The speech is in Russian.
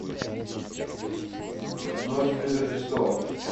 ночь перед рождеством